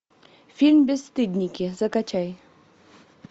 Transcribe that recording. фильм бесстыдники закачай